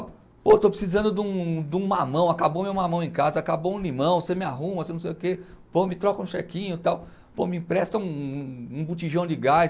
Ó, pô, estou precisando de um, de um mamão, acabou meu mamão em casa, acabou um limão, você me arruma, você não sei o quê, pô, me troca um chequinho e tal, pô, me empresta um um um botijão de gás.